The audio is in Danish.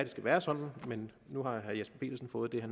være sådan men nu har herre jesper petersen fået det